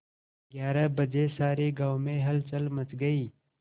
ग्यारह बजे सारे गाँव में हलचल मच गई